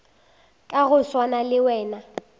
ka go swana le wena